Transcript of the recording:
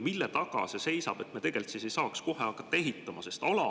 Mille taga see seisab, et me ei saa kohe hakata ehitama?